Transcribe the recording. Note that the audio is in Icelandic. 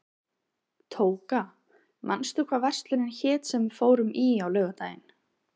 Tóka, manstu hvað verslunin hét sem við fórum í á laugardaginn?